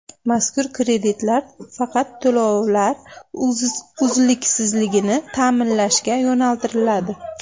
Mazkur kreditlar faqat to‘lovlar uzluksizligini ta’minlashga yo‘naltiriladi.